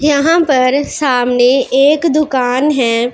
यहां पर सामने एक दुकान है।